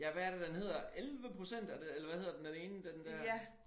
Ja hvad er det den hedder 11% er det eller hvad hedder det den ene den der